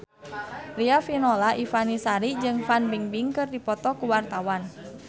Riafinola Ifani Sari jeung Fan Bingbing keur dipoto ku wartawan